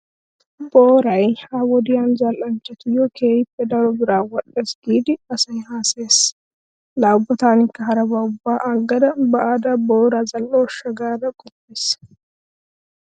Booray ha"i wode zal"anchchtuyyo keehi daro biraa wodhdhees giidi asay haasayees. Laa ubba taanikka harabaa ubba agga be'ada boora zal"ooshsha gaada qoppays.